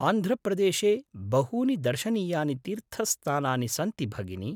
आन्ध्रप्रदेशे बहूनि दर्शनीयानि तीर्थस्थानानि सन्ति भगिनी।